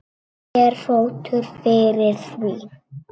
Ekki er fótur fyrir því.